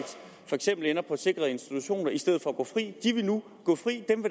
for eksempel ender på en sikret institution i stedet for at gå fri de vil nu gå fri dem